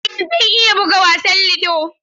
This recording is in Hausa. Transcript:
Eh zan iya buga wasan ludo.